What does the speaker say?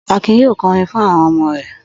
Akin yóò kọrin fún àwọn ọmọ rẹ̀.